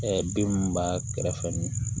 bin minnu b'a kɛrɛfɛ ni